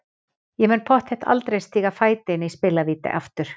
Ég mun pottþétt aldrei stíga fæti inn í spilavíti aftur.